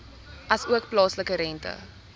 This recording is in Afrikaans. asook plaaslike rente